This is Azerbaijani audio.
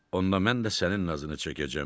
Onda mən də sənin nazını çəkəcəm,